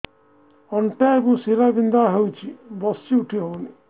ଅଣ୍ଟା ଏବଂ ଶୀରା ବିନ୍ଧା ହେଉଛି ବସି ଉଠି ହଉନି